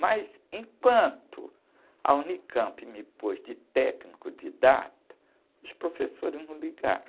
Mas enquanto a unicampi me pôs de técnico didata, os professores não ligaram.